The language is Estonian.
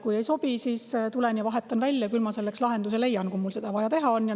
Kui ei sobi, siis tuleb ja vahetab välja: "Küll ma selleks lahenduse leian, kui mul seda teha on vaja.